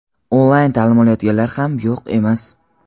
onlayn taʼlim olayotganlar ham yo‘q emas.